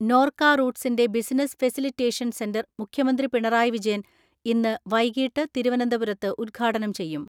നോർക്ക റൂട്സിന്റെ business facilitation centre മുഖ്യമന്ത്രി പിണറായി വിജയൻ ഇന്ന് വൈകീട്ട് തിരുവനന്ത പുരത്ത് ഉദ്ഘാടനം ചെയ്യും.